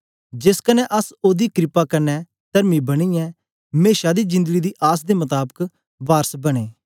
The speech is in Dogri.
जेस कन्ने अस ओदी क्रपा कन्ने तरमी बनियै मेशा दी जिंदड़ी दी आस दे मताबक वारस बनें